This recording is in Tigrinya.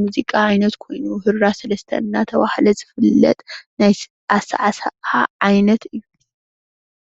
ሙዚቃ ዓይነት ካይኑ ሁራ ሰለስተ እናተባህለ ዝፍለጥ ናይ ኣሳዕሳዓ ዓይነት እዩ።